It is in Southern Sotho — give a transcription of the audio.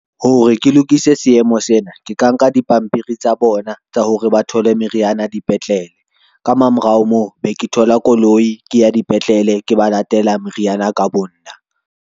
Hore ke lokise seemo sena, ke ka nka dipampiri tsa bona tsa hore ba thole meriana dipetlele ka mamorao moo be ke thola koloi, ke ya dipetlele ke ba latela meriana ka bonna.